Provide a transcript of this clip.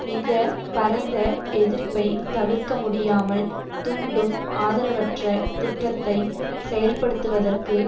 மிக பரந்த எதிர்ப்பை தவிர்க்கமுடியாமல் தூண்டும் ஆதரவற்ற திட்டத்தை செயல்படுத்துவதற்கு